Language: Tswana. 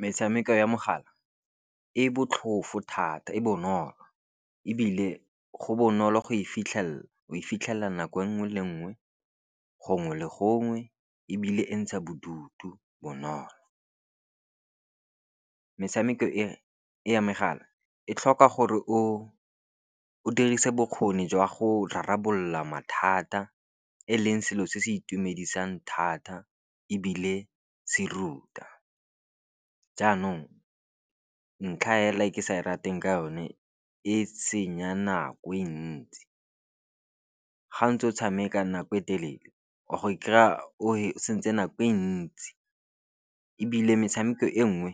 Metshameko ya mogala e botlhofo thata e bonolo e bile go bonolo go e fitlhelela o fitlhela nako nngwe le nngwe gongwe le gongwe e bile e ntsha bodutu bonolo, metshameko e no ya megala e tlhoka gore o dirise bokgoni jwa go rarabolola mathata e leng selo se se itumedisang thata e bile se ruta, jaanong ntlha hela e ke sa di rateng ke yone e senya nako e ntsi ga ntse o tshamekang nako e telele wa go e kry-a o santse nako e ntsi e bile metshameko e nngwe